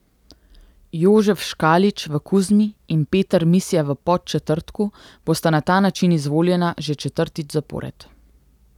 Jožef Škalič v Kuzmi in Peter Misja v Podčetrtku bosta na ta način izvoljena že četrtič zapored.